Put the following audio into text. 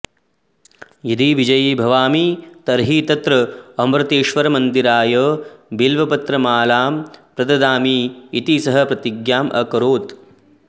यदि विजयी भवामि तर्हि तत्र अमृतेश्वरमन्दिराय बिल्वपत्रमालाम् प्रददामि इति सः प्रतिज्ञाम् अकरोत्